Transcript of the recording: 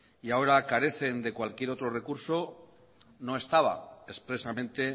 y ahora carecen de cualquier otro recurso no estaba expresamente